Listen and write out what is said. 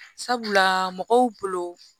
Sabula mɔgɔw bolo